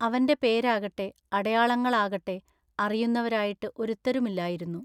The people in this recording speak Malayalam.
അവന്റെ പേരാകട്ടെ അടയാളങ്ങാളാകട്ടെ അറിയു ന്നവരായിട്ടു ഒരുത്തരുമില്ലായിരുന്നു.